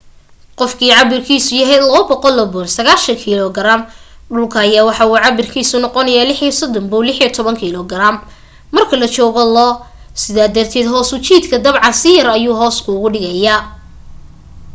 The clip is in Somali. qofkii cabirkiisu yahay 200 pound 90kg dhulka ayaa waxa uu cabirkiisa noqonaaya 36 pound 16kg marka la joogo lo. sidaa darted hoos u jiidka dabcan si yar ayuu hoos kuugu jiidaya